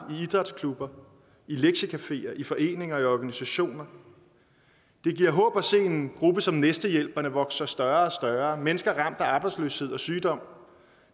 i idrætsklubber i lektiecafeer i foreninger og i organisationer det giver håb at se en gruppe som næstehjælperne vokse sig større og større mennesker der er ramt af arbejdsløshed og sygdom